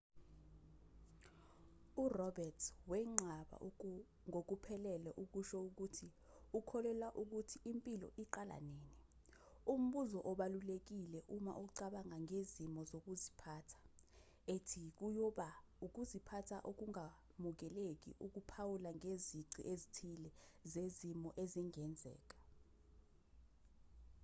uroberts wenqaba ngokuphelele ukusho ukuthi ukholelwa ukuthi impilo iqala nini umbuzo obalulekile uma ucabanga ngezimiso zokuziphatha ethi kuyoba ukuziphatha okungamukeleki ukuphawula ngezici ezithile zezimo ezingenzeka